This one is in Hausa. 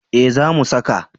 Eh za mu saka